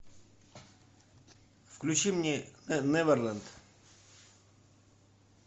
включи мне неверленд